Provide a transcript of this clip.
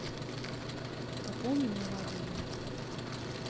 пополни мой мобильный